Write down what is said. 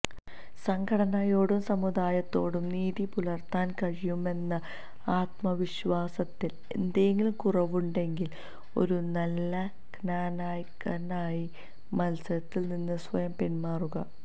സംഘടനയോടും സമുദായത്തോടും നീതി പുലര്ത്താന് കഴിയുമെന്ന ആത്മവിശ്വാസത്തില് എന്തെങ്കിലും കുറവുണ്ടെങ്കില് ഒരു നല്ല ക്നാനായക്കാര്നായി മല്സരത്തില് നിന്ന് സ്വയം പിന്മാറുക